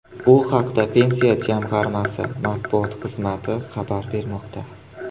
Bu haqda Pensiya jamg‘armasi matbuot xizmati xabar bermoqda .